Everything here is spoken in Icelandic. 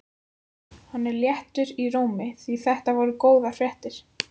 Hann var léttur í rómi því þetta voru góðar fréttir.